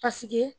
Paseke